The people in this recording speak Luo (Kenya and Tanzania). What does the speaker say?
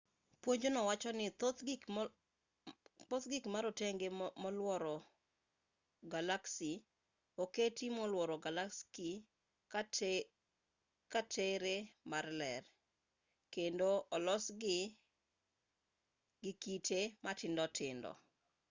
puonjno wacho ni thoth gik ma rotenge molworo galaksi oketi molworo galaksi ka tere mar ler kendo olosgi gi kite matindo tindo